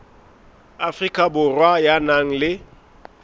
afrika borwa ya nang le